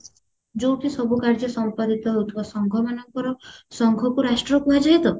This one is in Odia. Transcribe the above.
ଯୋଉଠି ସବୁ କାର୍ଯ୍ୟ ସମ୍ପାଦିତ ହଉଥିବା ସଂଘ ମାନଙ୍କର ସଂଘକୁ ରାଷ୍ଟ୍ର କୁହାଯାଏ ତ